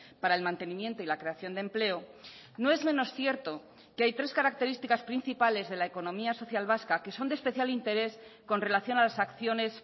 para el mantenimiento y la creación de empleo no es menos cierto que hay tres características principales de la economía social vasca que son de especial interés con relación a las acciones